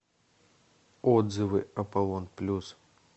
отзывы аполлон плюс